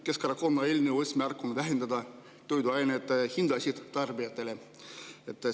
Keskerakonna eelnõu eesmärk on vähendada tarbijate jaoks toiduainete hinda.